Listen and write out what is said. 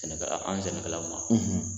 Sɛnɛkɛ an sɛnɛkɛ la